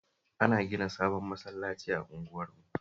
Ana gina sabon masallaci a unguwarmu